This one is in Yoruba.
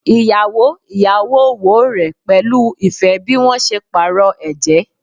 Iyawo iyawo wo rẹ pẹlu ifẹ bi wọn ṣe paarọ ẹjẹ